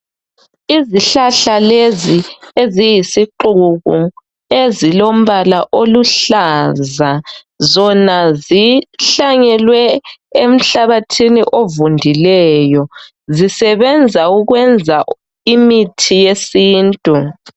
Ezihlahla lezi eziyisixuku ezilombala oluhlaza zona zihlanyelwe emhlabathini ovundileyo zisebenza ukwenza imithi yesintu.